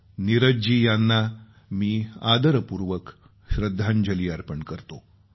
नीरज जी यांना मी आदरपूर्वक श्रद्धांजली अर्पण करतो